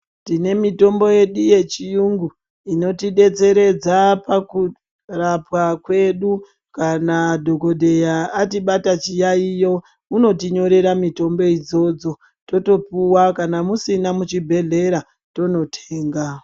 Tine mitombo yedu yechiyungu, inotidetseredza pakurapwa kwedu, kana dhokodheya atibata chiyaiyo, unotinyorera mitombo idzodzo, totopuwa kana musina muchibhedhlera tonotenga .